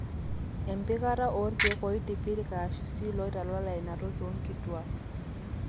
empikata oorkeek ooitipirik aashu sii ilooitalala inatoki oonkituaak